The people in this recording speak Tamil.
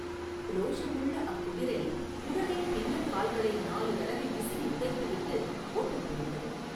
ரோஷமுள்ள அக்குதிரை உடனே பின்னங்கால்களை நாலு தடவை விசிறி உதைத்துவிட்டு ஓட்டம் பிடித்தது.